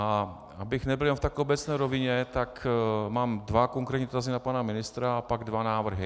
A abych nebyl jenom tak v obecné rovině, tak mám dva konkrétní dotazy na pana ministra a pak dva návrhy.